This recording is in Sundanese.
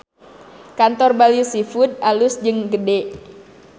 Kantor Bali Seafood alus jeung gede